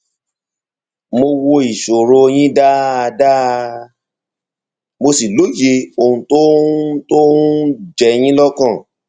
mo wo ìṣòro yín dáadáa mo sì lóye ohun tó ń ohun tó ń jẹ yín lọkàn